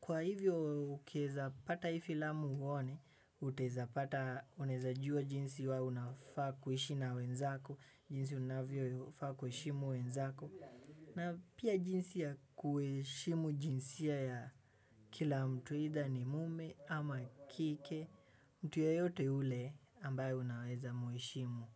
kwa hivyo ukieza pata hii filamu uone, utaeza pata unaeza jua jinsi we unafaa kuiishi na wenzako, jinsi unavyofaa kuheshimu wenzako. Na pia jinsi ya kuheshimu jinsia ya kila mtu aidha ni mume ama kike, mtu yeyote yule ambaye unaweza muheshimu.